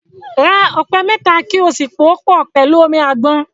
Ra ọ̀pẹ̀ òyìnbò mẹ́ta kí ó sì pòó pọ̀ pẹ̀lú omi àgbọn.